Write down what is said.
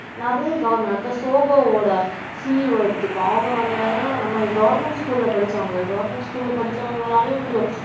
நிறைய அடுத்தது zoho வோட CEO எடுத்துக்கோ அவங்க வந்து என்னதுன்னா நம்ம government school ல படிச்சவங்க government school ல படிச்சவங்களாலேயும் முடியும்